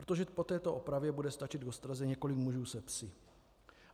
Protože po této opravě bude stačit k ostraze několik mužů se psy.